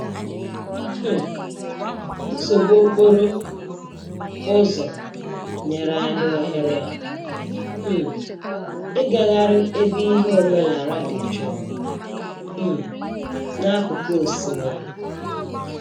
um Nsogbu okporo ụzọ nyere anyị ohere um ịgagharị ebe ihe omenaala dị jụụ um n'akụkụ osimiri.